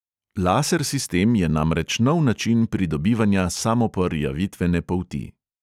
Laser sistem je namreč nov način pridobivanja samoporjavitvene polti.